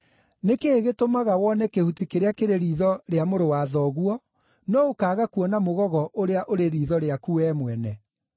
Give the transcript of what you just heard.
“Nĩ kĩĩ gĩtũmaga wone kĩhuti kĩrĩa kĩrĩ riitho rĩa mũrũ wa thoguo, no ũkaaga kuona mũgogo ũrĩa ũrĩ riitho rĩaku wee mwene?